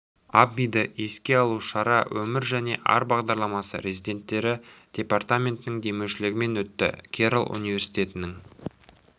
аббиді еске алу шара өмір және ар бағдарламасы резиденттері департаментінің демеушілігімен өтті керрол университетінің